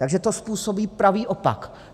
Takže to způsobí pravý opak.